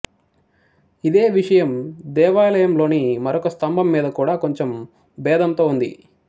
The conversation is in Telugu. ఇదే విషయం దేవాలయంలోని మరొక స్తంభం మీద కూడా కొంచెం భేదంతో ఉంది